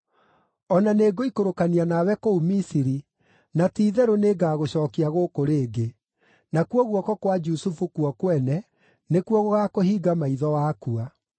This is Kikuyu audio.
O na nĩngũikũrũkania nawe kũu Misiri, na ti-itherũ nĩ ngagũcookia gũkũ rĩngĩ. Nakuo guoko kwa Jusufu kuo kwene nĩkuo gũgaakũhinga maitho wakua.”